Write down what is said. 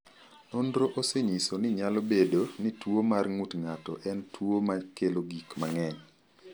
Nonro osenyiso ni nyalo bedo ni tuwo mar ng’ut ng’ato en tuwo ma kelo gik mang’eny.